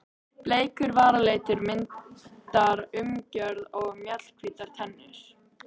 Bleikur varalitur myndar umgjörð um mjallhvítar tennur.